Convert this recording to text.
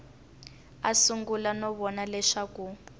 a sungula no vona leswaku